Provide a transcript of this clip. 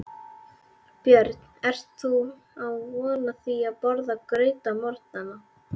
Björn: Ert þú vön því að borða graut á morgnanna?